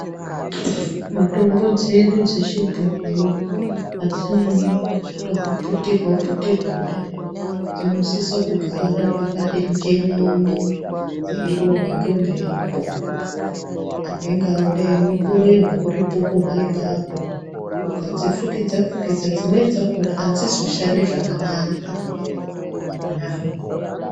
Mitombo dzedu chechibhoyi, hadzinyanye kuda kuputirwa putirwa kudai, dzinosisa kugara pakati njenini dziyirohwa ngemhepo anenge adakunokorerwa uripo kona ipapo. Ukadzifukidza fukidza dzimweni dzakona hadzizoshandi zvakanaka.